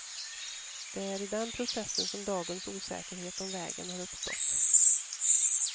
Det är i den processen som dagens osäkerhet om vägen har uppstått.